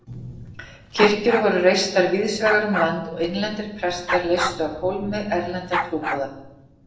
Kirkjur voru reistar víðsvegar um land og innlendir prestar leystu af hólmi erlenda trúboða.